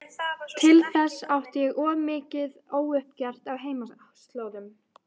Til þess átti ég of mikið óuppgert á heimaslóðum.